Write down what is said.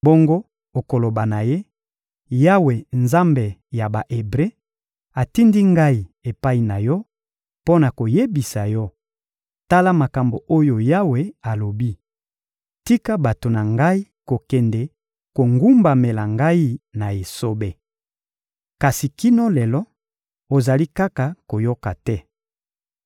Bongo okoloba na ye: ‹Yawe, Nzambe ya Ba-Ebre, atindi ngai epai na yo mpo na koyebisa yo: ‘Tala makambo oyo Yawe alobi: Tika bato na Ngai kokende kogumbamela Ngai na esobe. Kasi kino lelo, ozali kaka koyoka te.